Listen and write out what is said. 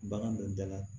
Bagan dɔ dala